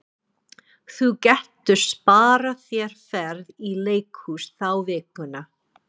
Þú getur sparað þér ferð í leikhús þá vikuna.